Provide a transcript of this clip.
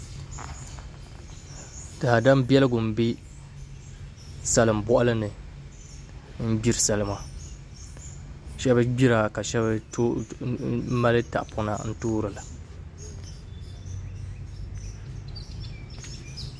Daadam biɛligu n bɛ salin boɣali ni n gbiri salima shab gbira ka shab mali tahapona n toora